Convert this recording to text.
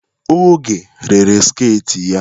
Oge rere sket ya.